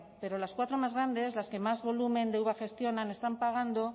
pero las cuatro más grandes las que más volumen de uva gestionan están pagando